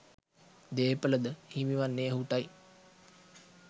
දේපළ ද හිමිවන්නේ ඔහුට යි.